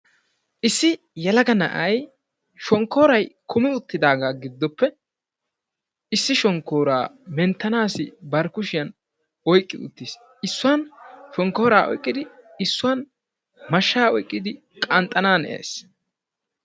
issi yelaga na'ay shonkkooray kummi uttidaagaa giddoppe shonkkoora mentanaasi bari kushiyan oyqqi uttiis. issuwan shonkooraa oyqqidi issuwan mashaa oyqqidi qanxxanaanees.